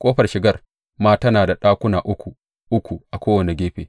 Ƙofar shigar ma tana da ɗakuna uku uku a kowane gefe.